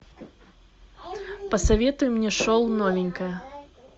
посоветуй мне шоу новенькая